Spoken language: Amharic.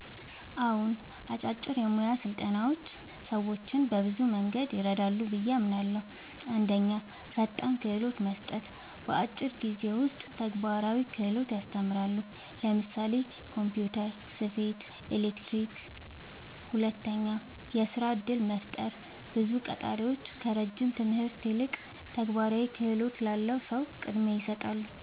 አዎን፣ አጫጭር የሙያ ስልጠናዎች ሰዎችን በብዙ መንገድ ይረዳሉ ብዬ አምናለሁ፦ 1. ፈጣን ክህሎት መስጠት – በአጭር ጊዜ ውስጥ ተግባራዊ ክህሎት ያስተምራሉ (ለምሳሌ ኮምፒውተር፣ ስፌት፣ ኤሌክትሪክ)። 2. የሥራ እድል መፍጠር – ብዙ ቀጣሪዎች ከረጅም ትምህርት ይልቅ ተግባራዊ ክህሎት ላለው ሰው ቅድሚያ ይሰጣሉ።